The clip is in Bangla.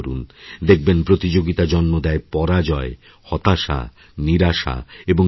দেখবেন প্রতিযোগিতা জন্ম দেয় পরাজয় হতাশা নিরাশা এবং ঈর্ষার